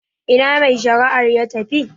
Ina mai shari'ar ya tafi?